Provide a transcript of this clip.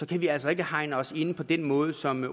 kan vi altså ikke hegne os ind på den måde som